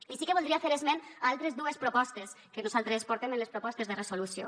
i sí que voldria fer esment d’altres dues propostes que nosaltres portem en les propostes de resolució